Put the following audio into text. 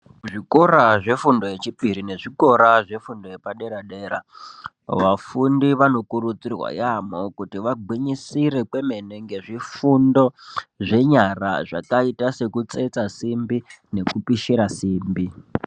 Kuzvikora zvefundo yechipiri nefundo yepadera dera vafundi vanokurudzirwa yambo kuti vagwinyisire kwemene ngezvifundo zvenyara zvakaita sekupishira simbi nekutsetsa simbi.